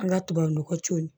An ka tubabunɔgɔ co